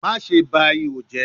Maṣe ba iho jẹ